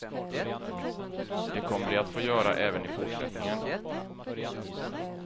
Det kommer de att få göra även i fortsättningen.